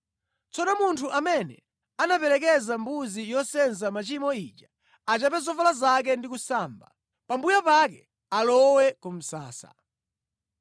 “Tsono munthu amene anaperekeza mbuzi yosenza machimo ija achape zovala zake ndi kusamba. Pambuyo pake alowe ku msasa.